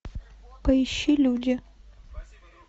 поищи люди